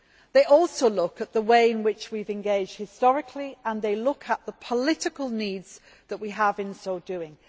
They also look at the way in which we have engaged historically and they look at the political needs that we have in so doing.